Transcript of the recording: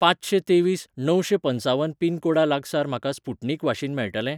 पांचशें तेवीस णवशें पंचावन पिनकोडा लागसार म्हाका स्पुटनिक वाशीन मेळटलें?